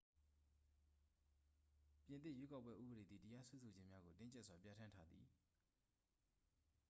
ပြင်သစ် ရွေးကောက်ပွဲ ဥပဒေသည် တရားစွဲဆိုခြင်းများကို တင်းကြပ်စွာ ပြဌာန်းထားသည်